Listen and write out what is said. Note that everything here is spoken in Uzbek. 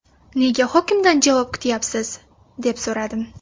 Nega hokimdan javob kutyapsiz?”, deb so‘radim.